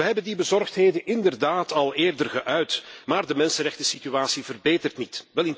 We hebben deze bezorgdheden inderdaad al eerder geuit, maar de mensenrechtensituatie verbetert niet.